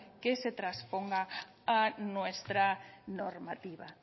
que se transponga a nuestra normativa